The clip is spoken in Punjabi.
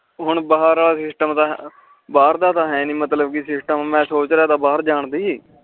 ਹੁਣ ਭਰ ਵਾਲਾ ਸਿਸਟਮ ਤਾ ਭਰ ਦਾ ਤਾ ਸਿਸਟਮ ਹੈ ਨੀ ਮੈਂ ਸੋਚੜ੍ਹਾ ਤਾ ਭਰ ਜਾਨ ਦੇ